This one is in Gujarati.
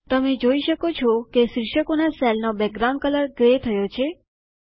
તમે જોઈ શકો છો કે શિર્ષકોનાં સેલનો બેકગ્રાઉન્ડ કલર ગ્રે થયો છે